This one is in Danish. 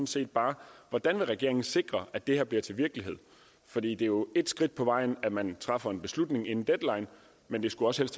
set bare hvordan vil regeringen sikre at det her bliver til virkelighed for det er jo ét skridt på vejen at man træffer en beslutning inden deadline men det skulle også